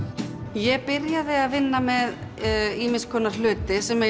ég byrjaði að vinna með ýmis konar hluti sem í